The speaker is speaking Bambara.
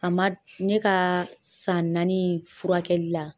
A ma ne kaa san naani in furakɛli la